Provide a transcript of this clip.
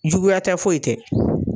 Juguya tɛ foyi tɛ.